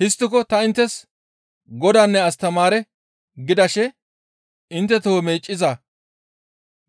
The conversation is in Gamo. Histtiko ta inttes Godaanne astamaare gidashe intte toho meeccizaa